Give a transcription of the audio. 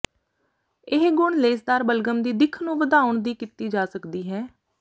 ਇਹ ਗੁਣ ਲੇਸਦਾਰ ਬਲਗਮ ਦੀ ਦਿੱਖ ਨੂੰ ਵਧਾਉਣ ਦੀ ਕੀਤੀ ਜਾ ਸਕਦੀ ਹੈ